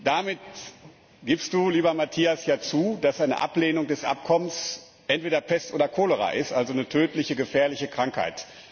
Damit gibst Du, lieber Matthias, ja zu, dass eine Ablehnung des Abkommens entweder Pest oder Cholera ist, also eine tödliche, gefährliche Krankheit.